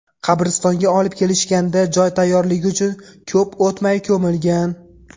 Qabristonga olib kelishganda joy tayyorligi uchun ko‘p o‘tmay ko‘milgan.